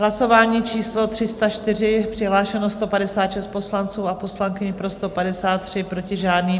Hlasování číslo 304, přihlášeno 156 poslanců a poslankyň, pro 153, proti žádný.